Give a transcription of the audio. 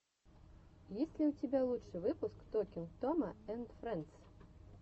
есть ли у тебя лучший выпуск токинг тома энд фрэндс